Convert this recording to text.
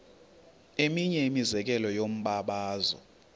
eminye imizekelo yombabazo